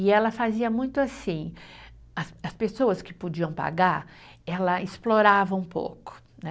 E ela fazia muito assim, as as pessoas que podiam pagar, ela explorava um pouco, né?